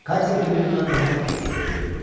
Katya günü-gündən daha fikirli görünürdü.